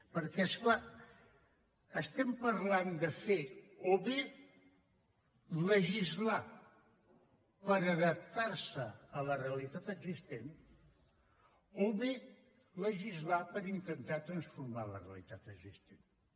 perquè és clar estem parlant de fer o bé legislar per adaptar se a la realitat existent o bé legislar per intentar transformar la realitat existent